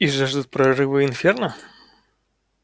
и жаждут прорыва инферно